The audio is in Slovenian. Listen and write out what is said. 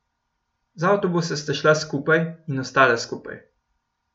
Z avtobusa sta šla skupaj in ostala skupaj.